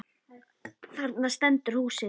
Þarna stendur húsið.